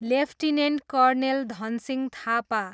lieutenant colonel Dhansingh Thapa